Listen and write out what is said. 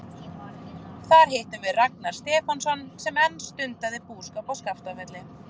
Þar hittum við Ragnar Stefánsson sem enn stundaði búskap á Skaftafelli.